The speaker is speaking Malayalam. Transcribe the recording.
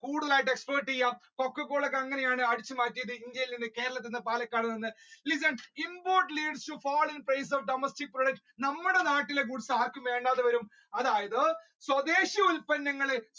കൂടുതലായിട്ട് exploit ചെയ്യുക coca-cola അങ്ങനെയാണ് ഇന്ത്യയിൽ നിന്ന് കേരളത്തിൽ നിന്ന് പാലക്കാട് നിന്ന് listen imports leads of domestic products നമ്മുടെ നാട്ടിലെ ഗുഡ്സ് ആർക്ക് വേണ്ടാതെ വരും അതായത് സ്വദേശി ഉത്പന്നങ്ങൾ